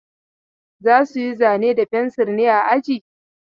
Za su yi zane da fensir ne a aji?